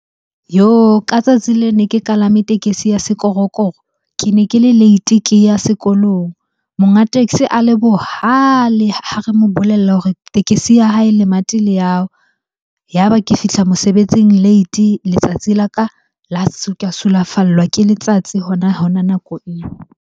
Yoh! Ka tsatsi le ne ke kalame tekesi ya sekorokoro. Ke ne ke le late, ke ya sekolong. Monga taxi a le bohale ha re mo bolella hore tekesi ya hae lemati la ya wa. Ya ba ke fihla mosebetsing late, letsatsi la ka ka sulafallwa ke letsatsi hona-hona nako eo.